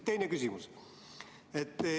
Teine küsimus.